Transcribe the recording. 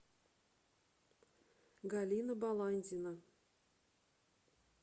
галина баландина